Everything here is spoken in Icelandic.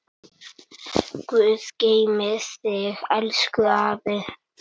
Guð geymi þig elsku afi.